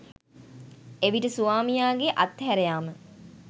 එවිට ස්වාමියාගේ අත්හැරයාම